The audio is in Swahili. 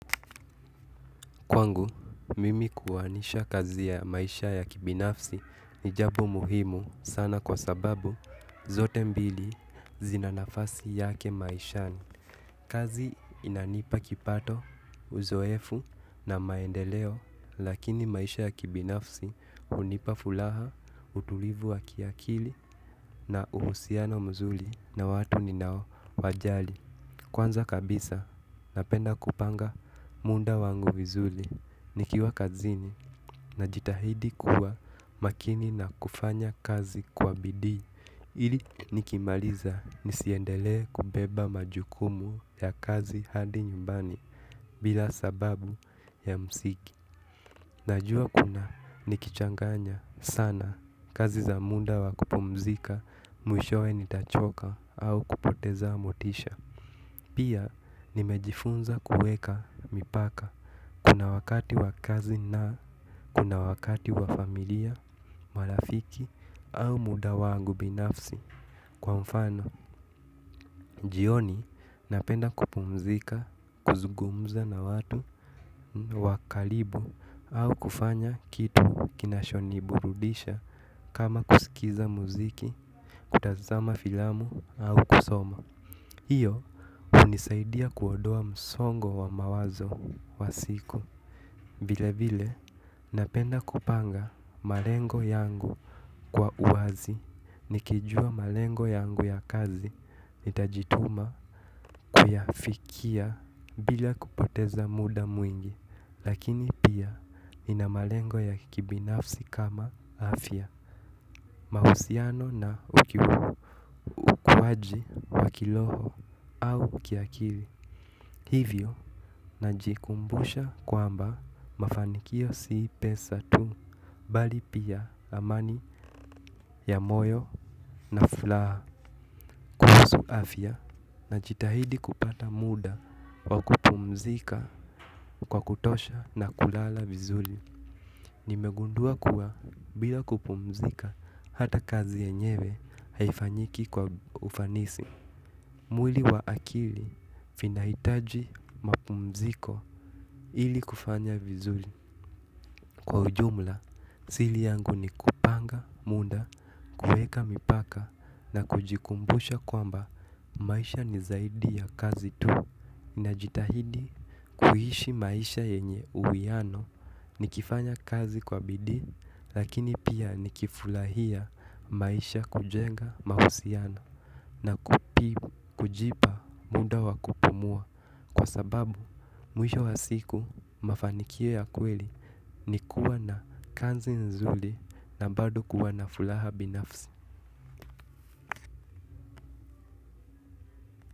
Kwangu, mimi kuanisha kazi ya maisha ya kibinafsi ni jambo muhimu sana kwa sababu zote mbili zina nafasi yake maishani. Kazi inanipa kipato, uzoefu na maendeleo lakini maisha ya kibinafsi hunipa furaha, utulivu wa kiakili na uhusiano mzuri na watu ninaowajali. Kwanza kabisa, napenda kupanga muda wangu vizuri, nikiwa kazini najitahidi kuwa makini na kufanya kazi kwa bidii, ili nikimaliza nisiendelee kubeba majukumu ya kazi hadi nyumbani bila sababu ya msingi. Najua kuna nikichanganya sana kazi za muda wa kupumzika, mwishowe nitachoka au kupoteza motisha. Pia nimejifunza kuweka mipaka kuna wakati wakazi na kuna wakati wa familia, marafiki au muda wangu binafsi. Kwa mfano, jioni napenda kupumzika, kuzungumza na watu, wakaribu, au kufanya kitu kinachoniburudisha kama kusikiza muziki, kutazama filamu, au kusoma hiyo, hunisaidia kuondoa msongo wa mawazo wa siku vile vile napenda kupanga malengo yangu kwa uwazi nikijua malengo yangu ya kazi nitajituma kuyafikia bila kupoteza muda mwingi lakini pia nina malengo ya kibinafsi kama afya mahusiano na ukuwaji wa kiroho au kiakili. Hivyo, najikumbusha kwamba mafanikio si pesa tu, bali pia amani ya moyo na furaha kuhusu afya. Najitahidi kupata muda wa kupumzika kwa kutosha na kulala vizuri. Nimegundua kuwa bila kupumzika hata kazi yenyewe haifanyiki kwa ufanisi. Mwili wa akili vinahitaji mapumziko ili kufanya vizuri kwa ujumla. Siri yangu ni kupanga, muda, kuweka mipaka na kujikumbusha kwamba maisha ni zaidi ya kazi tu. Najitahidi kuishi maisha yenye uwiano nikifanya kazi kwa bidii lakini pia nikifurahia maisha kujenga mahusiano na kupibu kujipa muda wa kupumua kwa sababu mwisho wa siku mafanikio ya kweli ni kuwa na kazi nzuri na bado kuwa na furaha binafsi.